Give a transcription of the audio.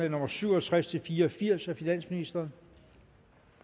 nummer syv og tres til fire og firs af finansministeren